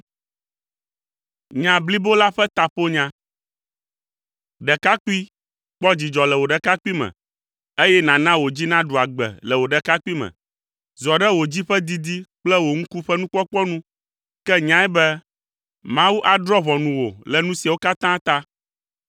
Ɖekakpui, kpɔ dzidzɔ le wò ɖekakpuime, eye nàna wò dzi naɖu agbe le wò ɖekakpuime. Zɔ ɖe wò dzi ƒe didi kple wò ŋku ƒe nukpɔkpɔ nu, ke nyae be Mawu adrɔ̃ ʋɔnu wò le nu siawo katã ta,